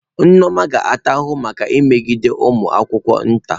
Nneoma ga-ata ahụhụ maka imegbu ụmụ akwụkwọ nta.